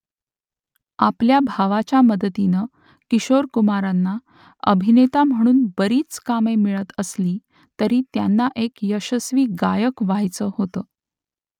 आपल्या भावाच्या मदतीने किशोर कुमारांना अभिनेता म्हणून बरीच कामे मिळत असली तरी त्यांना एक यशस्वी गायक व्ह्यायचं होतं